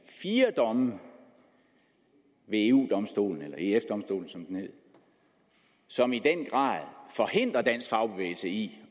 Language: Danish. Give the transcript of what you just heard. fire domme ved eu domstolen eller ef domstolen som den hed som i den grad forhindrer dansk fagbevægelse i